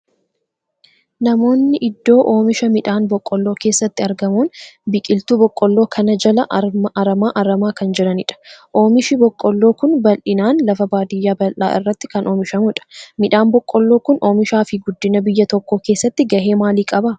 Namoonni iddoo oomisha midhaan boqqoolloo keessatti argamuun biqiltuu boqqoolloo kana jalaa aramaa aramaa kan jiranidha. Oomishi boqqoolloo kun bal'inaan lafa baadiyyaa bal'aa irratti akan oomishamudha. Midhaan boqqoolloo kun oomishaa fi guddina biyyaa tokkoo keessatti gahee maalii qaba?